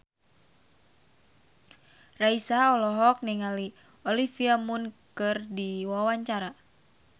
Raisa olohok ningali Olivia Munn keur diwawancara